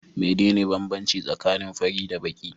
Mene ne banbanci tsakanin fari da baki?